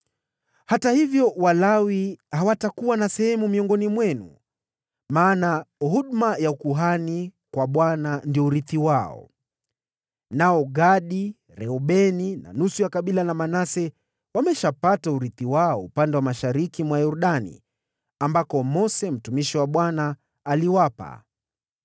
Hata hivyo, Walawi hawatakuwa na sehemu miongoni mwenu, kwa maana huduma ya ukuhani kwa Bwana ndio urithi wao. Nao Gadi, Reubeni na nusu ya kabila la Manase wameshapata urithi wao upande wa mashariki mwa Yordani, ambako Mose mtumishi wa Bwana aliwapa.”